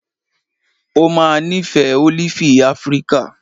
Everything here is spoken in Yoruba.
O máa nífẹ̀ẹ́ ólífì Afíríkà.